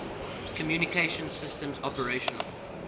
communication systems operational